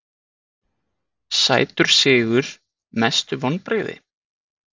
sætur sigur Mestu vonbrigði?